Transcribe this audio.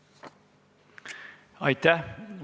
Aitäh!